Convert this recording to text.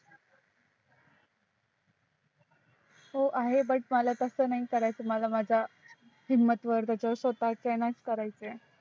हो आहे पण मला तस नाही करायच मला माझ्या हिम्मत वर स्वताच्या यानेच करायच आहे